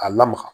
A lamaga